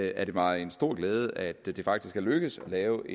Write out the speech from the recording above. er det mig en stor glæde at det faktisk er lykkedes at lave